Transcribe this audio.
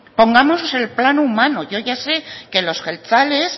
pongámonos en el plano humano yo ya sé que los jeltzales